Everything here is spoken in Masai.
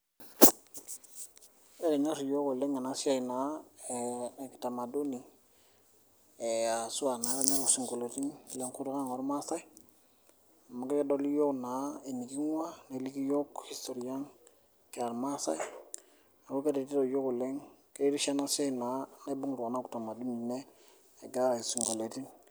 Ekinyorr iyiok oleng ena siai ekitamaduni, asua taa elelo sinkoliotin lenkutuk ang oormaasae amu kedoli iyiok naa eniking'uaa neliki iyiok history ang kira ilmaasai neaku keretito iyiok oleng, keretisho naa enasiai naibung kitamaduni ne gira arany isinkolioitin.